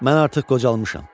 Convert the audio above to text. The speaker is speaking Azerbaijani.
Mən artıq qocalmışam.